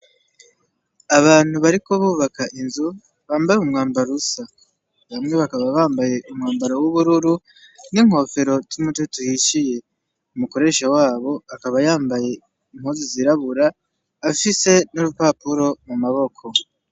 Abantu bariko bubaka inzu, bambaye imwambaro usa. Bamwe bakaba bambaye umwambaro w'ubururu, n'inkofero z'umutoto uhishiye. Umukoresha wabo akaba yambaye impuzu zirabura, afise n'urupapuro mu maboko.